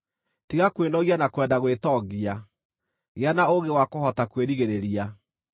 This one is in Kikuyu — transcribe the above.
Tiga kwĩnogia na kwenda gwĩtongia; gĩa na ũũgĩ wa kũhota kwĩrigĩrĩria.